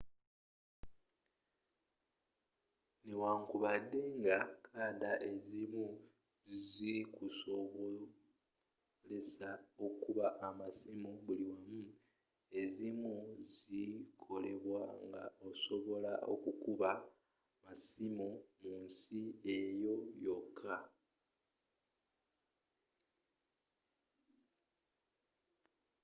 newankubadde nga kadda ezzimu zikusobolesa okuba amasiimu buli wamu ezimu zikolebwa nga osobola kuba masimu mu nsi eyo yoka